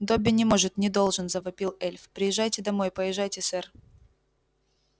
добби не может не должен завопил эльф поезжайте домой поезжайте сэр